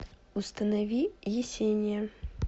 установи есения